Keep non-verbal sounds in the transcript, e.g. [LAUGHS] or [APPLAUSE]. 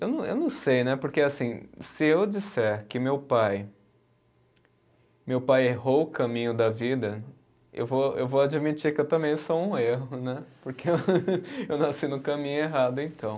Eu não, eu não sei né, porque assim se eu disser que meu pai meu pai errou o caminho da vida, eu vou eu vou admitir que eu também sou um erro né, [LAUGHS] porque eu nasci no caminho errado então.